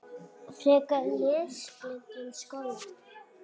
Frekara lesefni um sólina